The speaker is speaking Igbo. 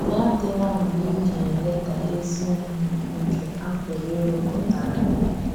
Yà adị́lá mgbe ị ga-eledá ezi ihe nke a pụrụ ịrụpụta ányá.